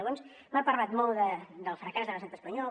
llavors m’ha parlat molt del fracàs de l’estat espanyol